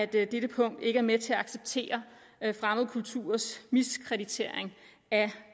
dette punkt ikke er med til at acceptere fremmede kulturers miskreditering af